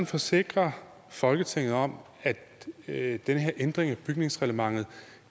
forsikre folketinget om at den her ændring af bygningsreglementet